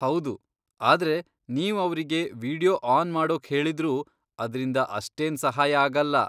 ಹೌದು, ಆದ್ರೆ ನೀವ್ ಅವ್ರಿಗೆ ವೀಡಿಯೋ ಆನ್ ಮಾಡೋಕ್ ಹೇಳಿದ್ರೂ, ಅದ್ರಿಂದ ಅಷ್ಟೇನ್ ಸಹಾಯ ಆಗಲ್ಲ.